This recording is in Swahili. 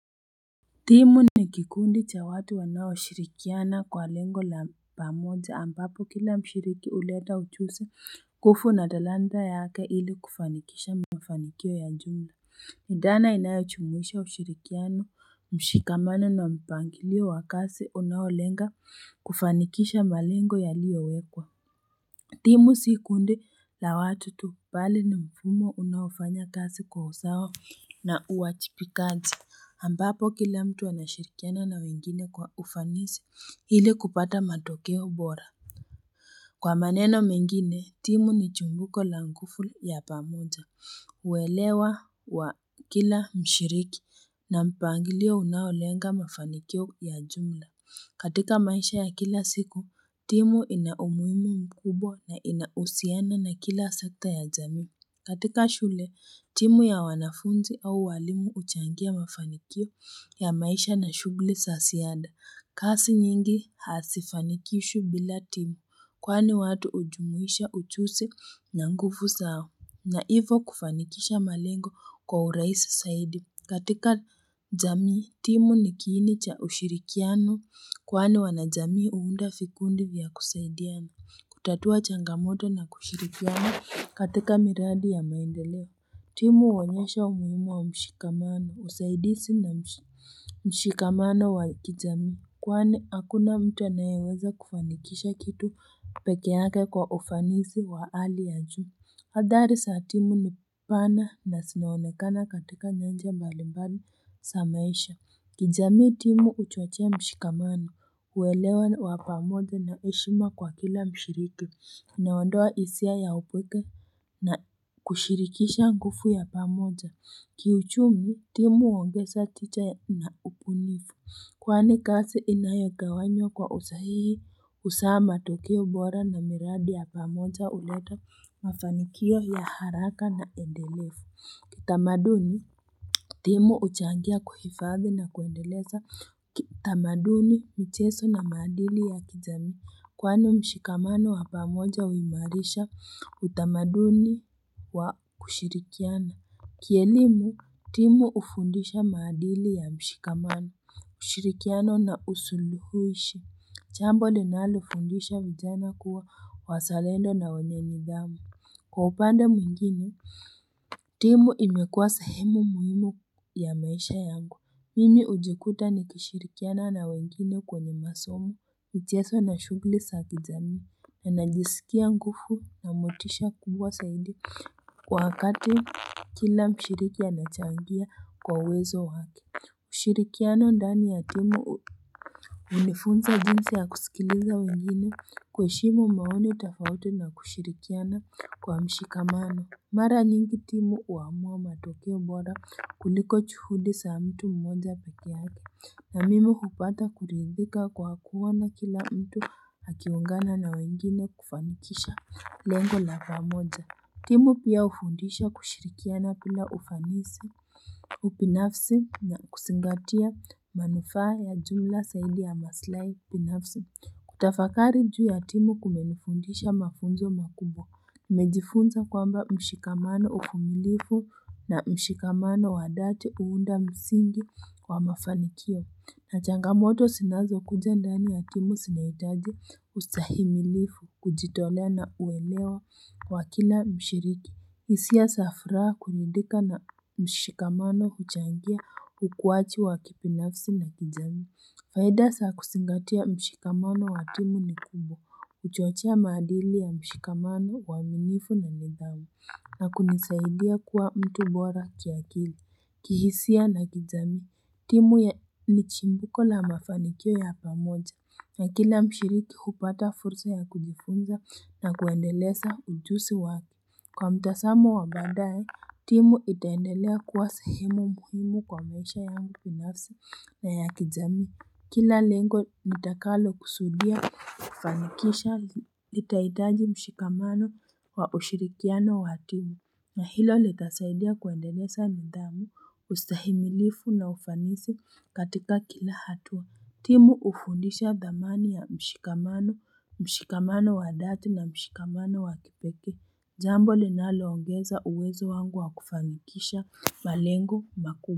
Timu ni kikundi cha watu wanao shirikiana kwa lengo la pamoja ambapo kila mshiriki huleta ujuzi nguvu na talanta yake ili kufanikisha mafanikio ya jumla dhana inayo jumuisha ushirikiano mshikamano na mpangilio wa kazi unaolenga kufanikisha malengo yaliyowekwa timu si kundi la watu tu pale ni mfumo unaofanya kazi kwa usawa na uwajibikaji ambapo kila mtu anashirikiana na wengine kwa ufanisi ili kupata matokeo bora kwa maneno mengine timu ni chimbuko la nguvu ya pamoja uelewa wa kila mshiriki na mpangilio unaolenga mafanikio ya jumla katika maisha ya kila siku timu ina umuhimu mkubwa na inahusiana na kila sekta ya jamii katika shule timu ya wanafunzi au walimu huchangia mafanikio ya maisha na shughuli za ziada kasi nyingi hazifanikishwi bila timu kwani watu hujumuisha ujuzi na nguvu zao na hivyo kufanikisha malengo kwa urahisi zaidi katika jamii timu ni kiini cha ushirikiano kwani wanajamii huunda vikundi vya kusaidiana kutatua changamoto na kushirikiana katika miradi ya maendeleo timu huonyesha umuhimu wa mshikamano usaidizi na mshikamano wa kijami kwani hakuna mtu anayeweza kufanikisha kitu peke yake kwa ufanisi wa hali ya juu hathari za timu ni pana na zinaonekana katika nyanja mbalimbali za maisha kijamii timu huchochea mshikamano huelewa wa pamoja na heshima kwa kila mshiriki inaondoa hisia ya upweke na kushirikisha nguvu ya pamoja kiuchumi timu uongeza tija na ubunifu kwani kasi inayogawanywa kwa usahihi huzaa matokeo bora na miradi ya pamoja huleta mafanikio ya haraka na endelevu kitamaduni timu huchangia kuhifadhi na kuendeleza kitamaduni michezo na maadili ya kijami kwani mshikamano wa pamoja huimarisha utamaduni wa kushirikiana kielimu timu hufundusha maadili ya mshikamano ushirikiano na usuluhishi jambo linalofundisha vijana kuwa wazalendo na wenye nidhamu kwa upande mwingine timu imekuwa sahemu muhimu ya maisha yangu mimi hujikuta nikishirikiana na wengine kwenye masomo michezo na shughuli za kijamii najisikia nguvu na motisha kubwa zaidi kwa wakati kila mshiriki anachangia kwa uwezo wake kushirikiana ndani ya timu hunifunza jinsi ya kusikiliza wengine kuheshimu maoni tofauti na kushirikiana kwa mshikamano mara nyingi timu huamua matokeo bora kuliko juhudi za mtu mmoja peke yake na mimi hupata kuridhika kwa kuona kila mtu akiungana na wengine kufanikisha lengo la pamoja timu pia hufundisha kushirikiana bila ufanisi ubinafsi na kuzingatia manufaa ya jumla zaidi ya maslahi binafsi kutafakari juu ya timu kumenifundisha mafunzo makubwa nimejifunza kwamba mshikamano uvumilivu na mshikamano wa dhati huunda msingi wa mafanikio na changamoto zinazokuja ndani ya timu zinahitaji ustahimilivu kujitolea na uelewa wa kila mshiriki hisia za furaha kuridhika na mshikamano huchangia ukuwaji wa kibinafsi na kijamii faida za kuzingatia mshikamano wa timu ni kubwa huchochea maadili ya mshikamano uaminifu na nidhamu na kunisaidia kuwa mtu bora kiakili kihisia na kijami timu ni chimbuko la mafanikio ya pamoja na kila mshiriki hupata fursa ya kujifunza na kuendeleza ujuzi wake kwa mtazamo wa badae timu itaendelea kuwa sehemu muhimu kwa maisha yangu binafsi na ya kijamii kila lengo nitakalo kusudia kufanikisha litahitaji mshikamano wa ushirikiano wa timu na hilo litasaidia kuendeleza nidhamu ustahimilivu na ufanisi katika kila hatua timu hufundisha thamani ya mshikamano mshikamano wa dhati na mshikamano wa kipekee jambo linaloongeza uwezo wangu wa kufanikisha malengo makuu.